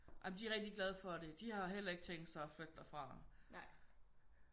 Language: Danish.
Jamen de er rigtig glade for det de har heller ikke tænkt sig at flytte derfra